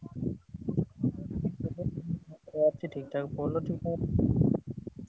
ଅଛି ଠିକ୍ ଠାକ୍ ପୋଲ ଠି କଣ।